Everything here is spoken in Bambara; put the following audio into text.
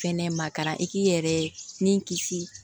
Fɛnɛ ma taara i k'i yɛrɛ ni kisi